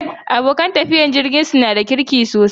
Abokan tafiyar jirginsa su na da kirki sosai.